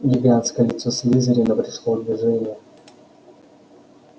гигантское лицо слизерина пришло в движение